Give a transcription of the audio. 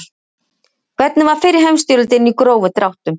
Hvernig var fyrri heimstyrjöldin í grófum dráttum?